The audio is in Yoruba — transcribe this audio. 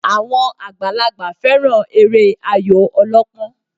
Àwọn àgbàlagbà fẹ́ràn eré Ayò ọlọ́pọ́n